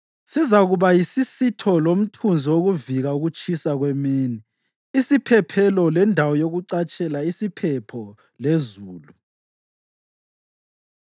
Sizakuba yisisitho lomthunzi wokuvika ukutshisa kwemini, isiphephelo lendawo yokucatshela isiphepho lezulu.